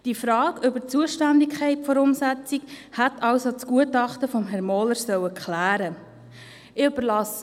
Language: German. Die Frage nach der Zuständigkeit der Umsetzung hätte also im Gutachten von Herrn Mohler geklärt werden müssen.